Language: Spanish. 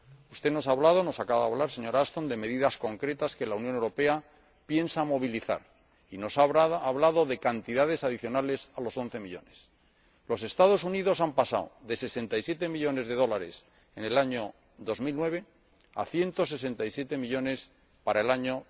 Usted nos acaba de hablar, señora Ashton, de medidas concretas que la Unión Europea piensa llevar a cabo y nos ha hablado de cantidades adicionales a los 11 millones de euros. Los Estados Unidos han pasado de 67 millones de dólares en el año 2009 a 167 millones para el año